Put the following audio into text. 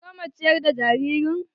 Kin gama ciyar da jaririn?